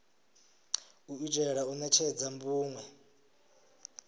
u itela u netshedza vhunwe